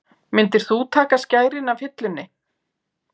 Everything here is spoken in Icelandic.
Myndir þú taka skærin af hillunni?